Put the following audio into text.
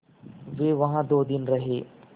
वे वहाँ दो दिन रहे